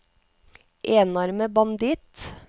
enarmet banditt